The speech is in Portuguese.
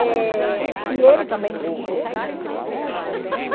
Eh... E ele também não ficou, né, na FEBEM.